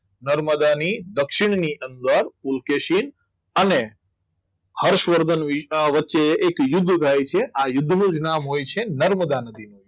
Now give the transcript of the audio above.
નર્મદાની દક્ષિણ ની અંદર પુલકેશીન અને હર્ષવર્ધન વચ્ચે એક યુદ્ધ થાય છે આ યુદ્ધનો વિરામ હોય છે નર્મદા નદી